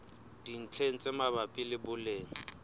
dintlheng tse mabapi le boleng